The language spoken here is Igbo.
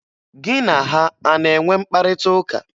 Gị na ha a na-enwe mkparịtaụka?